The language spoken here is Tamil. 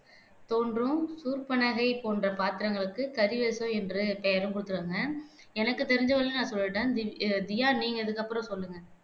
தோன்றும் சூர்ப்பனகை போன்ற பாத்திரங்களுக்கு கரி வேஷம் என்று பெயரும் குடுத்திருக்காங்க எனக்கு தெரிஞ்ச வரையும் நான் சொல்லிட்டேன் திவ் தியா நீங்க இதுக்கு அப்புறம் சொல்லுங்க